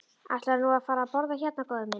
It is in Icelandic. Ætlarðu nú að fara að borða hérna, góði minn?